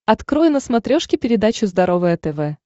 открой на смотрешке передачу здоровое тв